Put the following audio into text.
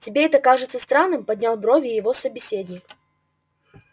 тебе это кажется странным поднял брови его собеседник